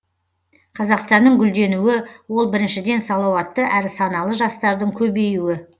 қазақстанның гүлденуі ол біріншіден салауатты әрі саналы жастардың көбеюі